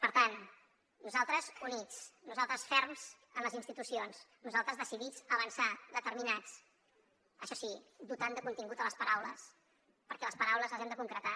per tant nosaltres units nosaltres ferms en les institucions nosaltres decidits a avançar determinats això sí dotant de contingut les paraules perquè les paraules les hem de concretar